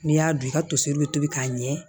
N'i y'a dun i ka toseri bɛ tobi k'a ɲɛ